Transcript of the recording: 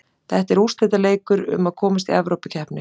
Þetta er úrslitaleikur um að komast Evrópukeppni.